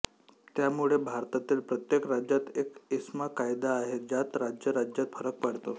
त्यामुळे भारतातील प्रत्येक राज्यात एक एस्मा कायदा आहे ज्यात राज्या राज्यात फरक पडतो